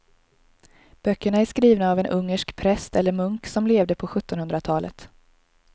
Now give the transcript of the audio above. Böckerna är skrivna av en ungersk präst eller munk som levde på sjuttonhundratalet.